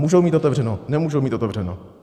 Můžou mít otevřeno, nemůžou mít otevřeno?